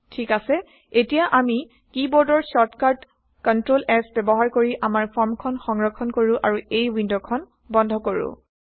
ঠিক আছে এতিয়া আমি কী বোৰ্ডৰ শ্বৰ্টকাট কন্ট্ৰল S ব্যৱহাৰ কৰি আমাৰ ফৰ্মখন সংৰক্ষন কৰো আৰু এই ৱিণ্ডখন বন্ধ কৰো